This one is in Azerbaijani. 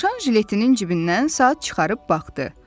Dovşan jiletinin cibindən saat çıxarıb baxdı.